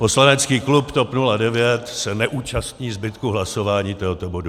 Poslanecký klub TOP 09 se neúčastní zbytku hlasování tohoto bodu.